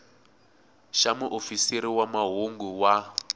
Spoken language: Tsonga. xa muofisiri wa mahungu wa